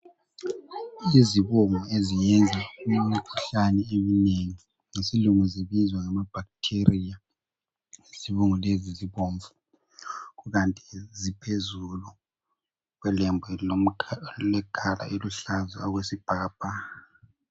Izibungu eziyenza imikhuhlane eminengi ngesilungu zibizwa ngama bacteria. Izibungu lezi zibomvu, kukanti ziphezulu kwelembu elilecolour eluhlaza okwesibhakabhaka.